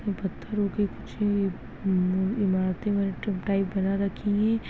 --पत्थरों की कुछ इमारते उमारते टाइप बना रखी है।